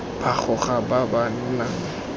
ba gago ba ba nang